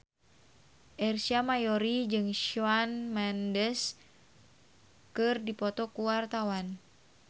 Ersa Mayori jeung Shawn Mendes keur dipoto ku wartawan